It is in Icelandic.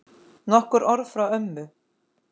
Nokkur orð frá ömmu.